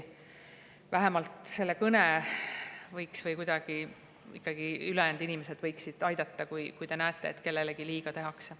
Vähemalt selle kõne võiksid teha või kuidagi aidata teised inimesed, kui nad näevad, et kellelegi liiga tehakse.